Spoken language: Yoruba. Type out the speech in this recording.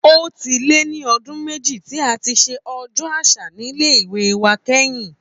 Ó ti lé lọdún méjì tí a ti ṣe Ọjọ́ Àṣà nílé ìwé wa kẹ́yìn